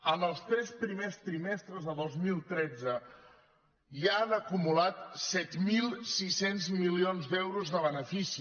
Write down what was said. en els tres primers trimestres de dos mil tretze ja han acumulat set mil sis cents milions d’euros de benefici